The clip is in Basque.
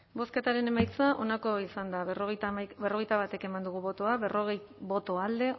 bozketaren emaitza onako izan da berrogeita bat eman dugu bozka berrogei boto alde